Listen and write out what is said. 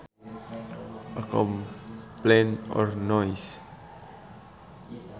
A complaint or noise